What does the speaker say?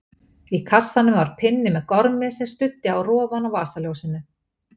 Í kassanum var pinni með gormi sem studdi á rofann á vasaljósinu.